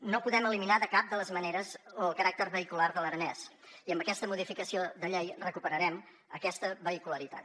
no podem eliminar de cap de les maneres el caràcter vehicular de l’aranès i amb aquesta modificació de llei recuperarem aquesta vehicularitat